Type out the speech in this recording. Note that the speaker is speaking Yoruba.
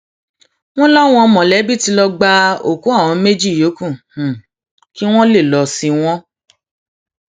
wọn láwọn mọlẹbí tí lọọ gba òkú àwọn méjì yòókù kí wọn lè lọọ sin wọn